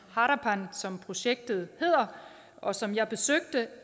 harapan som projektet hedder og som jeg besøgte